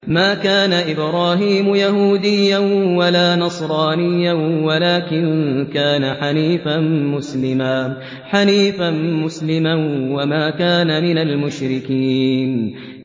مَا كَانَ إِبْرَاهِيمُ يَهُودِيًّا وَلَا نَصْرَانِيًّا وَلَٰكِن كَانَ حَنِيفًا مُّسْلِمًا وَمَا كَانَ مِنَ الْمُشْرِكِينَ